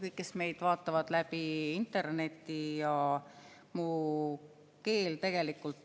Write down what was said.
Kõik, kes te meid vaatate interneti kaudu!